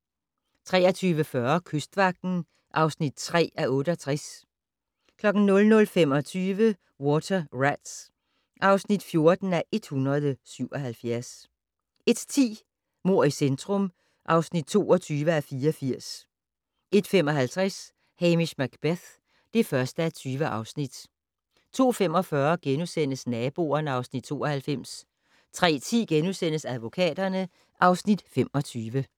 23:40: Kystvagten (3:68) 00:25: Water Rats (14:177) 01:10: Mord i centrum (22:84) 01:55: Hamish Macbeth (1:20) 02:45: Naboerne (Afs. 92)* 03:10: Advokaterne (Afs. 25)*